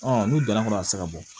n'u donna kɔnɔ a bɛ se ka bɔ